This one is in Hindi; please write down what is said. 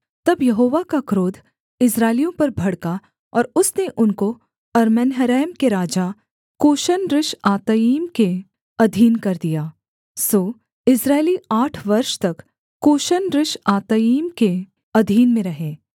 तब यहोवा का क्रोध इस्राएलियों पर भड़का और उसने उनको अरम्नहरैम के राजा कूशन रिश्आतइम के अधीन कर दिया सो इस्राएली आठ वर्ष तक कूशन रिश्आतइम के अधीन में रहे